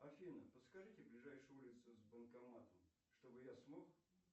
афина подскажите ближайшую улицу с банкоматом чтобы я смог